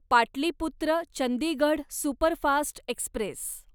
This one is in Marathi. Pataliputra Chandigarh superfast Express